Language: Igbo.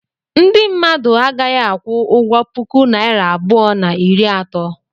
Ndị mmadụ a gaghị aku ụgwọ puku naira abụọ na iri ato.